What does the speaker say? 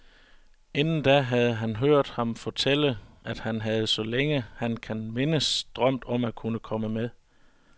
Inden da havde han hørt ham fortælle, og han havde, så længe han kan mindes, drømt om at kunne komme med.